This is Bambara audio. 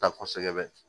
Ta kosɛbɛ